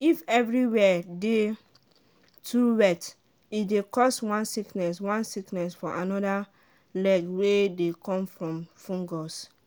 if everywhere dey too wet e dey cause one sickness one sickness for animal leg wey dey come from fungus.